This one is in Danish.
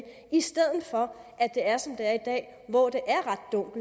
i stedet for at det er som det er i dag hvor det